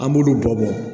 An b'olu bɔ